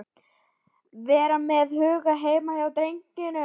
Vera með hugann heima hjá drengnum.